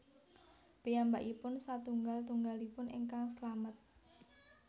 Piyambakipun satunggal tunggalipun ingkang slamet